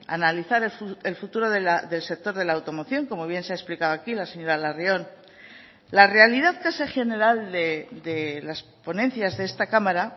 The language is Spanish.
analizar el futuro del sector de la automoción como bien se ha explicado aquí la señora larrion la realidad casi general de las ponencias de esta cámara